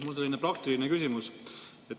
Mul on selline praktiline küsimus.